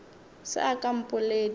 se a ka a mpoledi